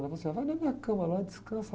Ela falou assim, ah, vai na minha cama lá, descansa